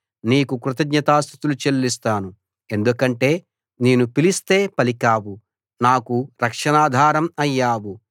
నీకు కృతజ్ఞతాస్తుతులు చెల్లిస్తాను ఎందుకంటే నేను పిలిస్తే పలికావు నాకు రక్షణాధారం అయ్యావు